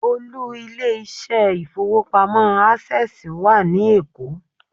Olú ilé iṣẹ́ ilé ìfowópamọ́ Access wà ní Èkó.